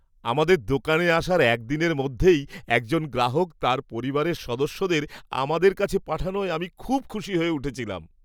আমাদের দোকানে আসার একদিনের মধ্যেই একজন গ্রাহক তাঁর পরিবারের সদস্যদের আমাদের কাছে পাঠানোয় আমি খুব খুশি হয়ে উঠেছিলাম।